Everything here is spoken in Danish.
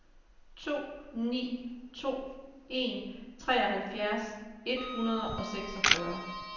to ni to en treoghalvfjerds et hundrede og seksogfyrre